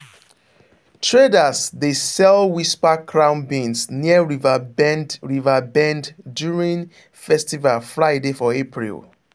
traders dey sell whisper crown beans near river bend river bend during festival friday for april.